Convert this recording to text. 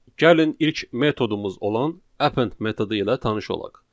Gəlin ilk metodumuz olan append metodu ilə tanış olaq.